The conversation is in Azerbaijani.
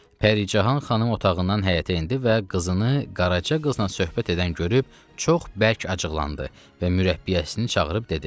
Pəricahan xanım otağından həyətə endi və qızını Qaraca qızla söhbət edən görüb çox bərk acıqlandı və mürəbbiyəsini çağırıb dedi: